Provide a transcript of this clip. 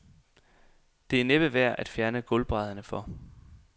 Det er næppe værd at fjerne gulvbrædderne for.